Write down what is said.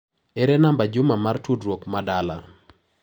Ere namba Juma mar tudruok ma dala.?